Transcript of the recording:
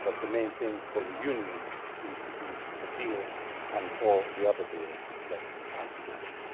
But the main thing for the Union seems to be the deal and all the other deals that come with it.